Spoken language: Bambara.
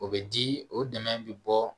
O bɛ di o dɛmɛ bɛ bɔ